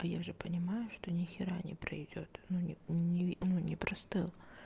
я же понимаю что ни хера не пройдёт ну не ну не простыл